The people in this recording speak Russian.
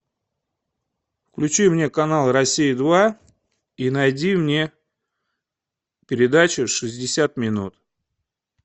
включи мне канал россия два и найди мне передачу шестьдесят минут